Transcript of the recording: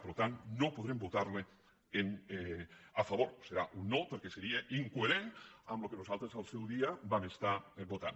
per tant no podrem votar·hi a favor serà un no perquè seria incoherent amb el que nosaltres al seu dia vam estar votant